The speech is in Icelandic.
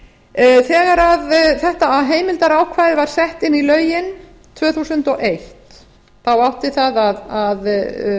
stætisvagnar þegar þetta heimildarákvæði var sett inn í lögin tvö þúsund og eitt þá átti það að